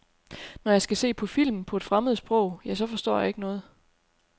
Når jeg skal se på film på et fremmed sprog, ja, så forstår jeg ikke noget.